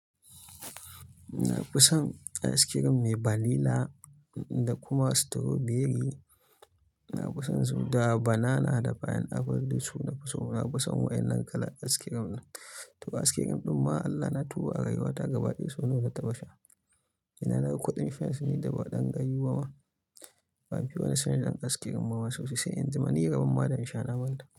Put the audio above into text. Na fi son ice cream mai vanilla da kuma strawberry. Na fi son su da banana da pineapple da su na fi so. Na fi son waɗannan kalan ice cream ɗin. To ice cream ɗin ma Allah na tuba a rayuwa ta gabaɗaya so nawa na taba sha. Ina naga kudin shan shi ni da ba ɗan gayu bama. Bamu fiya yawan shan ice cream bama sosai sai in jima, ni rabon ma da in sha na manta.